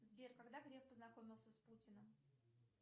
сбер когда греф познакомился с путиным